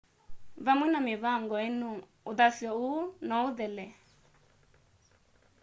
vamwe na mĩvango ĩno ũthasyo ũũ no ũthele